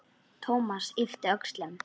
Thomas yppti öxlum.